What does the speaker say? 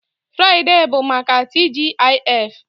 Furaidee bụ maka TGIF